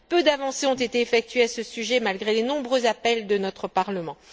Peu d'avancées ont été effectuées à ce sujet malgré les nombreux appels de notre Parlement.